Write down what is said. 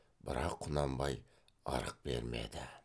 бірақ құнанбай ырық бермеді